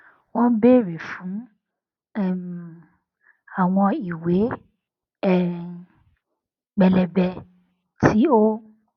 wón béèrè fún um àwọn ìwé um pẹlẹbẹ tí ó